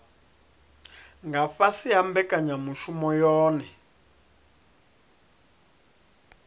nga fhasi ha mbekanyamushumo yohe